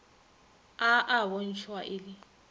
a a bontšhwa e le